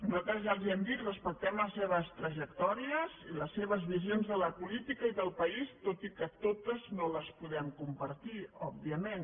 nosaltres ja els ho hem dit respectem les seves trajectòries i les seves visions de la política i del país tot i que totes no les podem compartir òbvia·ment